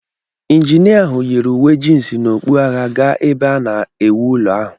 Injinia ahụ yiri uwe jịns na okpu agha ga ebe a na-ewu ụlọ ahụ.